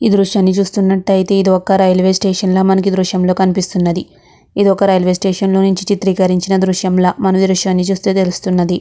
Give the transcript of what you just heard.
ఈ దృశ్యాన్ని చూస్తునట్టు అయితే ఇది ఒక రైల్వే స్టేషన్ లా మనకి ఈ దృశ్యంలో కనిపిస్తున్నది. ఇదొక రైల్వే స్టేషన్ లో నుంచి చిత్రీకరించిన దృశ్యంలా మన దృశ్యాన్ని చూస్తే తెలుస్తున్నది.